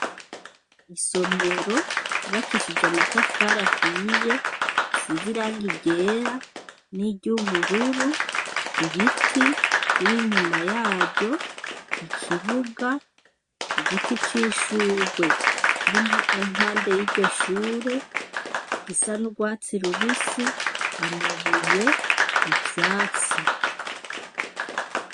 Isomero kibakishije amatafara ahiye isiziranga igera n'iryubururu ibiti biri inyuma yaryo ikibuga i giti c'ishurwe kiri mpande y'iryo shure gisa n'urwatsi ruwe bisi amabuye ivyatsita.